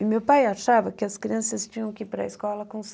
E meu pai achava que as crianças tinham que ir para a escola com